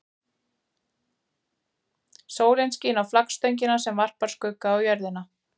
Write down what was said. Sólin skín á flaggstöngina sem varpar skugga á jörðina.